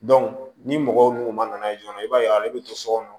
ni mɔgɔw n'u ma na ye joona i b'a ye ale bɛ to so kɔnɔ